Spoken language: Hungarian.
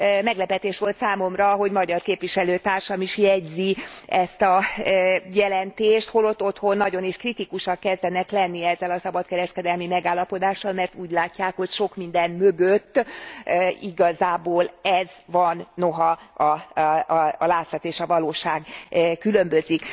Meglepetés volt számomra, hogy magyar képviselőtársam is jegyzi ezt a jelentést, holott otthon nagyon is kritikusak kezdenek lenni ezzel a szabadkereskedelmi megállapodással szemben, mert úgy látják, hogy sok minden mögött igazából ez van, noha a látszat és a valóság különbözik.